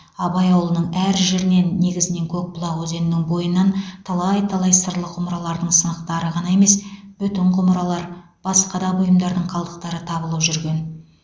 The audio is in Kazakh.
абай ауылының әр жерінен негізінен көкбұлақ өзенінің бойынан талай талай сырлы құмыралардың сынықтары ғана емес бүтін құмыралар басқа да бұйымдардың қалдықтары табылып жүрген